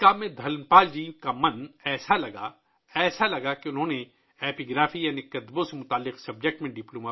دھن پال جی کا ذہن اس کام میں اس قدر مگن تھا کہ انہوں نے ایپی گرافی یعنی نوشتہ جات سے متعلق مضمون میں ڈپلومہ بھی کیا